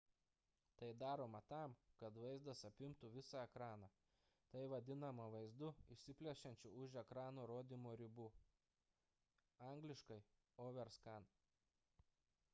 tai daroma tam kad vaizdas apimtų visą ekraną. tai vadinama vaizdu išsiplečiančiu už ekrano rodymo ribų angl. overscan